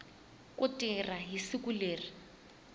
ku tirha hi siku leri